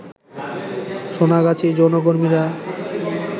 সোনাগাছির যৌনকর্মীরা